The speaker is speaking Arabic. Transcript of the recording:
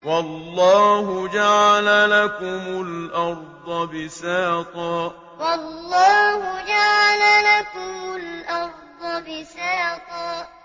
وَاللَّهُ جَعَلَ لَكُمُ الْأَرْضَ بِسَاطًا وَاللَّهُ جَعَلَ لَكُمُ الْأَرْضَ بِسَاطًا